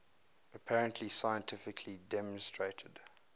apparently scientifically demonstrated